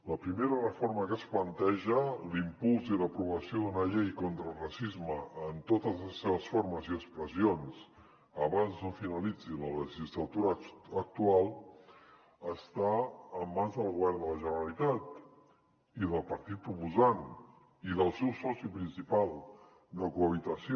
la primera reforma que es planteja l’impuls i l’aprovació d’una llei contra el racisme en totes les seves formes i expressions abans no finalitzi la legislatura actual està en mans del govern de la generalitat i del partit proposant i del seu soci principal de cohabitació